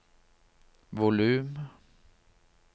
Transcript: volum